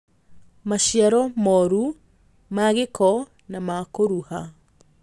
Maciaro moru, ma gĩko, na ma kũruha